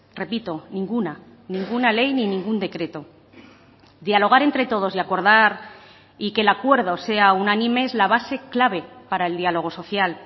repito ninguna ninguna ley ni ningún decreto dialogar entre todos y acordar y que el acuerdo sea unánime es la base clave para el diálogo social